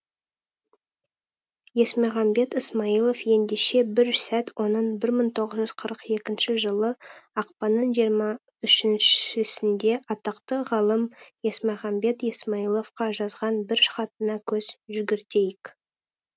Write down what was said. есмағамбет ысмайылов ендеше бір сәт оның бір мың тоғыз жүз қырық екінші жылы ақпанның жиырма үшіншісінде атақты ғалым есмағамбет ысмайыловқа жазған бір хатына көз жүгіртейік